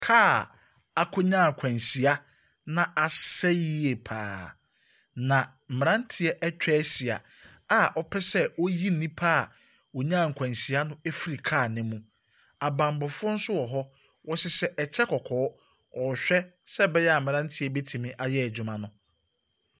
Kaa a akɔnya na asɛe yie pa ara, na mmeranteɛ atwa ahyia a wɔpɛ sɛ wɔyi nnipa wɔnya akwanhyia no ɛfiri kaa ne mu. Na abammɔfoɔ nso wɔ hɔ, wɔhyehyɛ ɛkyɛ kɔkɔɔ, wɔrehwɛ sɛ ɛbɛyɛ a mmeranteɛ yi bɛtumi ayɛ adwuma no.